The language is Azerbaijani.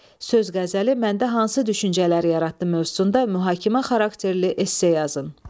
Söz qəzəli məndə hansı düşüncələr yaratdı mövzusunda mühakimə xarakterli esse yazın.